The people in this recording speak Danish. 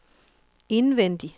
indvendig